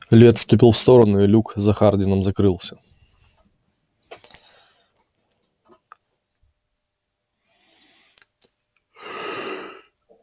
ли отступил в сторону и люк за хардином закрылся